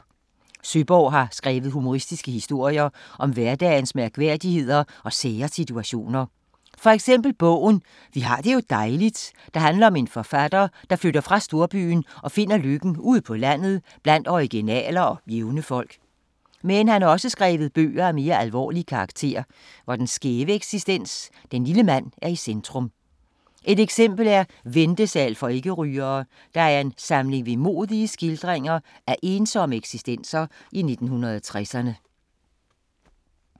Søeborg har skrevet humoristiske historier om hverdagens mærkværdigheder og sære situationer. For eksempel bogen "Vi har det jo dejligt", der handler om en forfatter, der flytter fra storbyen og finder lykken ude på landet blandt originaler og jævne folk. Men han har også skrevet bøger af mere alvorlig karakter, hvor den skæve eksistens, den lille mand, er i centrum. Et eksempel er "Ventesal for ikke-rygere", der er en samling vemodige skildringer af ensomme eksistenser i 1960'erne.